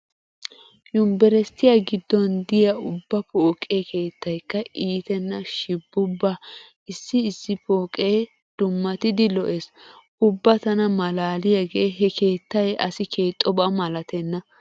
Yumbberesttiya giddon diya ubba pooqe keettaykka iitenna shibubba issi issi pooqee dummatidi lo'ees. Ubba tana malaaliyagee he keettay asi keexxoba malatenna.